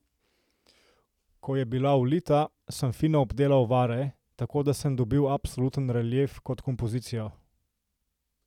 Ko je bila ulita, sem fino obdelal vare, tako da sem dobil absoluten relief kot kompozicijo.